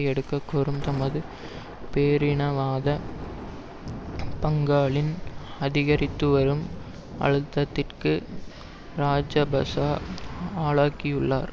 எடுக்க கோரும் தமது பேரினவாத பங்காளின் அதிகரித்துவரும் அழுத்தத்திற்கு இராஜபக்ஷ ஆளாகியுள்ளார்